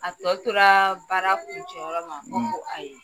A tɔ tora baara kuncɛ jɔyɔrɔ ma ne ko ayi.